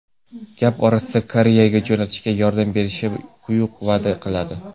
Gap orasida Koreyaga jo‘natishga yordam berishini quyuq va’da qiladi.